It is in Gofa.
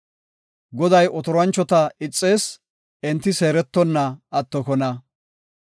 Goday otoranchota ixees; enti seerettonna attokona.